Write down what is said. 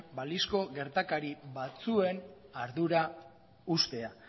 balizko gertakari batzuen ardura uztea